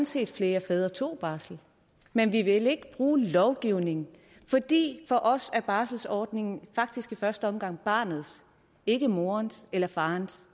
set at flere fædre tog barsel men vi vil ikke bruge lovgivningen fordi for os er barselsordningen faktisk i første omgang barnets ikke morens eller farens